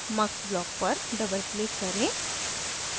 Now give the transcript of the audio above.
mux block पर double click करें